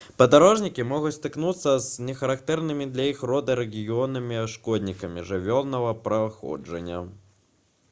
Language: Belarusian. падарожнікі могуць сутыкнуцца з нехарактэрнымі для іх роднага рэгіёна шкоднікамі жывёльнага паходжання